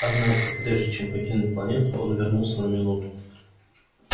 однако прежде чем покинуть планету он вернулся на минуту